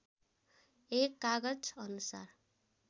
१ कागज अनुसार